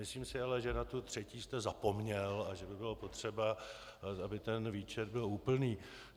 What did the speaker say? Myslím si ale, že na tu třetí jste zapomněl a že by bylo potřeba, aby ten výčet byl úplný.